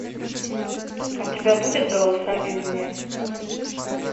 у тебя будет голоса из вне